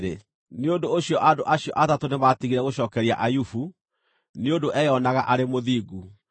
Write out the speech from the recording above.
Nĩ ũndũ ũcio andũ acio atatũ nĩmatigire gũcookeria Ayubu, nĩ ũndũ eeyonaga arĩ mũthingu.